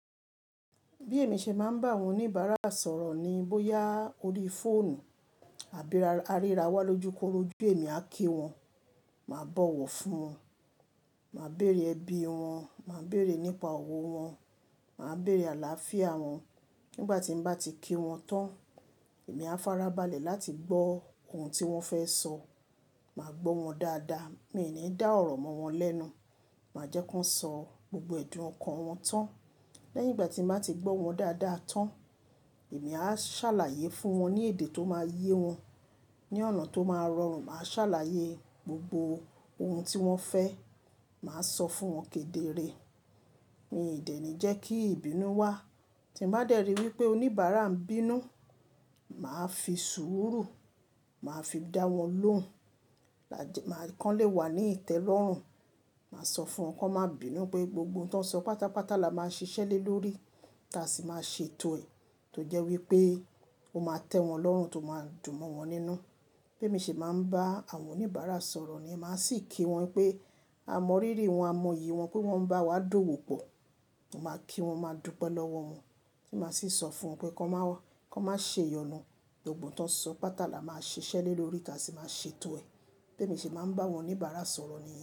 Bí èmi ṣe máa ń bá àwọn oníbàárà sọ̀rọ̀ ni bóyá orí fóònù àbí ra, a ríra wá lójúkorojú èmi á kí wọn, màá bọ̀wọ̀ fún wọn, màá bèrè ẹbí wọn, màá bèrè nípa ọ̀wọ́ wọn, màá bèrè àlàáfíà wọn. Nígbà tí n bá ti kí wọn tán, èmi á farabalẹ̀ láti gbọ́ ohun tí wọ́n fẹ́ sọ. Màá gbọ́ wọn dáadáa, mi ní dá ọ̀rọ̀ mọ́ wọn lẹ́nu. Màá jẹ́ ko n sọ gbogbo ẹ̀dùn ọkàn wọn tán. Lẹ́yìn ìgbà tí n bá ti gbọ́ wọn dáadáa tán, èmi á ṣàlàyé fún wọn ní èdè tó máa yé wọn, ní ọ̀nà tó máa rọrùn. Màá ṣàlàyé gbogbo ohun tí wọ́n fẹ́, màá sọ fún wọn kedere. Mi dé ni jẹ́ kí ìbínú wá. Tí n bá dẹ̀ rí wí pé oníbàárà ń bínú, màá fi sùúrù, màá fi dá wọn lóhùn. Màá kànlé wà ní ìtẹ́lọ́rùn. Màá sọ fún wọn kó má bínú pé gbogbo n tó ń sọ pátápátá la máa ṣiṣẹ́ le lórí ta sì máa ṣe tò rẹ́ tó jẹ́ wípé ó máa tẹ́ wọn lọ́rùn, tó máa dùn mọ́ wọn nínú. Bí èmi ṣe máa ń bá àwọn oníbàárà sọ̀rọ̀ ni, màá sì kí wọn pé a mọ ríri wọn, a mọ iyì wọn pé wọ́n ń bá wa dọ̀wó pọ̀. Mo máa kí wọn, màá dúpẹ́ lọ́wọ́ wọn. Tí màá sì sọ fún wọn pé ko má wa, ko ma ṣe iyọnu, gbogbo n tó ń sọ pátá la máa ṣiṣẹ́ le lórí ta sì máa ṣe etò ẹ́. Bí èmi ṣe máa ń bá àwọn oníbàárà sọ̀rọ̀ ni.